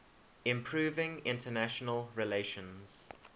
improving international relations